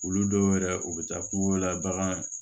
Olu dɔw yɛrɛ u bɛ taa ko la bagan